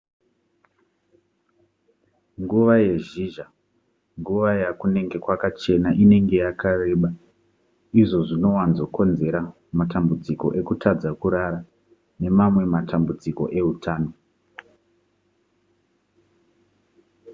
nguva yezhizha nguva yakunenge kwakachena inenge yakareba izvo zvinowanzokonzera matambudziko ekutadza kurara nemamwe matambudziko eutano